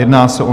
Jedná se o